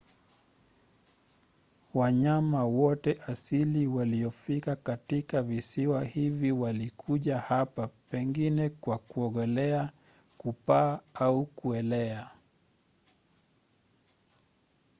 wanyama wote asili waliofika katika visiwa hivi walikuja hapa pengine kwa kuogelea kupaa au kuelea